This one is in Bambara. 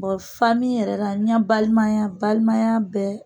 yɛrɛ la, n'i ya balimaya balimaya bɛ